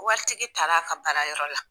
Waritigi taar'a ka baarayɔrɔ la